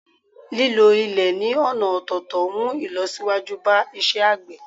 lílo ilè ni ọna ọ̀tọ̀tọ̀ mu ìlọsíwájú ba isé àgbè